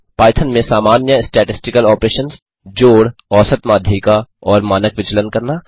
Python में सामान्य statistical operations जोड़ औसत माध्यिका और मानक विचलन करना